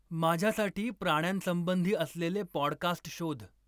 माझ्यासाठी प्राण्यांसंबंधी असलेले पॉडकास्ट शोध.